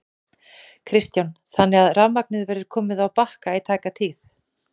Kristján: Þannig að rafmagnið verður komið á Bakka í tæka tíð?